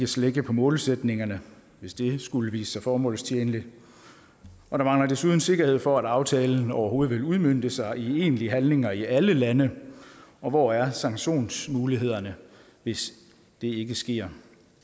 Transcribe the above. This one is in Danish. slække på målsætningerne hvis det skulle vise sig formålstjenligt og der mangler desuden sikkerhed for at aftalen overhovedet vil udmønte sig i egentlige handlinger i alle lande og hvor er sanktionsmulighederne hvis det ikke sker